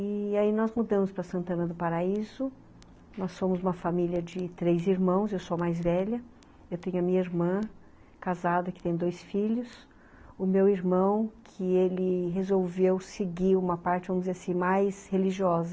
E aí nós mudamos para Santana do Paraíso, nós somos uma família de três irmãos, eu sou a mais velha, eu tenho a minha irmã casada que tem dois filhos, o meu irmão que ele resolveu seguir uma parte, vamos dizer assim, mais religiosa.